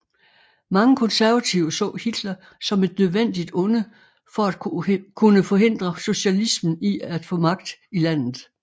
Mange konservative så Hitler som et nødvendigt onde for at kunne forhindre socialismen i at få magt i landet